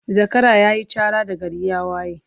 Zakara yayi Chara da gari ya waye